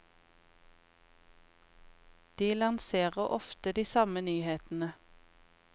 De lanserer ofte de samme nyhetene.